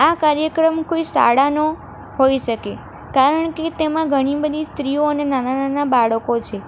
આ કાર્યક્રમ કોઈ શાળાનો હોઈ શકે કારણ કે તેમાં ઘણી બધી સ્ત્રીઓ અને નાના-નાના બાળકો છે.